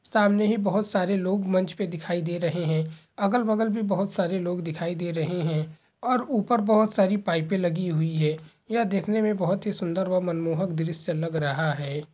सामने ही बहुत सारे लोग मंच पे दिखाई दे रहे है अगल-बगल भी बहुत सारे लोग दिखाई दे रहे है और ऊपर बहुत सारी पाइपें लगी हुई है। यह देखने में बहुत ही सुन्दर व मनमोहक दृश्य लग रहा है।